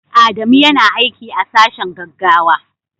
Adamu yana aiki a sashen gaggawa.